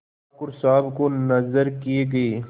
ठाकुर साहब को नजर किये गये